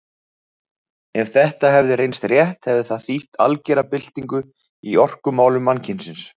Ef þetta hefði reynst rétt hefði það þýtt algera byltingu í orkumálum mannkynsins.